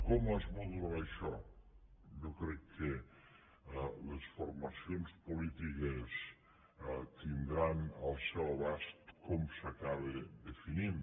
com es modularà això jo crec que les formacions polítiques tindran al seu abast com s’acaba definint